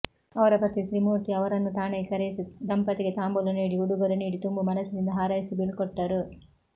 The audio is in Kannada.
ಅವರ ಪತಿ ತ್ರಿಮೂರ್ತಿ ಅವರನ್ನೂ ಠಾಣೆಗೆ ಕರೆಯಿಸಿ ದಂಪತಿಗೆ ತಾಂಬೂಲ ನೀಡಿ ಉಡುಗೊರೆ ನೀಡಿ ತುಂಬು ಮನಸ್ಸಿನಿಂದ ಹಾರೈಸಿ ಬೀಳ್ಕೊಟ್ಟರು